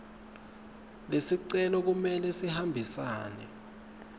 lesicelo kumele sihambisane